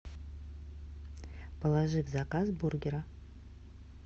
положи в заказ бургера